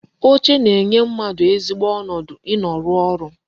Oche na-enye mmadụ ezigbo ọnọdụ ị nọ rụọ ọrụ